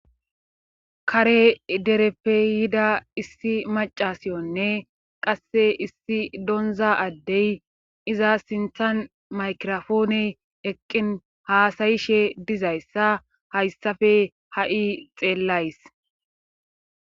kare dereppe yida issi macasiyonne qasse issi donza addey iza sinthan maykirofoone eqqin haasayishe dizayssa hayssafe ha'i xeellays